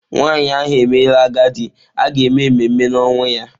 Nwanyị ahụ emela agadi, a ga-eme ememe na-ọnwụ ya.